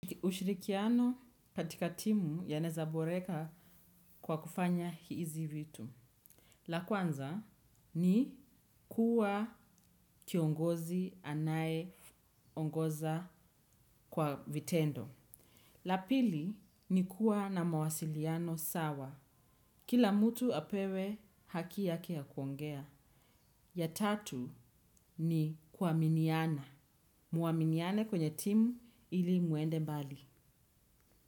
Ushirikiano katika timu yanezaboreka kwa kufanya hizi vitu. La kwanza ni kuwa kiongozi anayeongoza kwa vitendo. La pili ni kuwa na mawasiliano sawa. Kila mutu apewe haki yake ya kuongea. Ya tatu ni kuaminiana. Muaminiane kwenye timu ili muende mbali.